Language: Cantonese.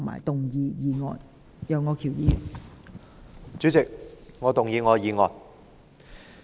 代理主席，我動議我的議案。